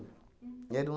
Era um